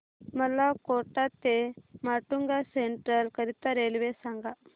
मला कोटा ते माटुंगा सेंट्रल करीता रेल्वे सांगा